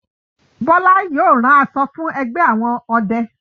Bola yóò ràn aṣọ fún ẹgbẹ àwọn ọdẹ.